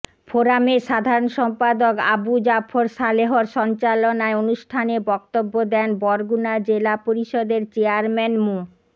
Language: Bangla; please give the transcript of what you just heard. ফোরামের সাধারণ সম্পাদক আবু জাফর সালেহর সঞ্চালনায় অনুষ্ঠানে বক্তব্য দেন বরগুনা জেলা পরিষদের চেয়ারম্যান মো